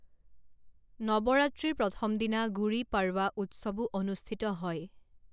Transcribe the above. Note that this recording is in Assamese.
নৱৰাত্ৰিৰ প্ৰথম দিনা, গুড়ি পড়ৱা উৎসৱো অনুষ্ঠিত হয়।